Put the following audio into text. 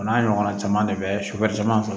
O n'a ɲɔgɔnna caman de bɛ caman sɔrɔ